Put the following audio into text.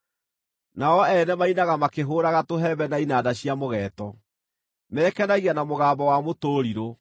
Nao o ene mainaga makĩhũũraga tũhembe na inanda cia mũgeeto; mekenagia na mũgambo wa mũtũrirũ.